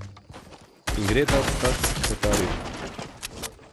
In gre tat vprašat h kletarju.